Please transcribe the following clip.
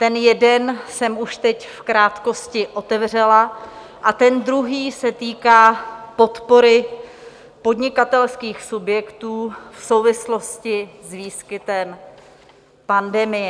Ten jeden jsem už teď v krátkosti otevřela a ten druhý se týká podpory podnikatelských subjektů v souvislosti s výskytem pandemie.